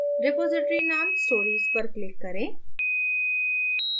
repository name stories पर click करें